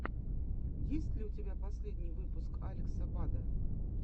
есть ли у тебя последний выпуск алекса бада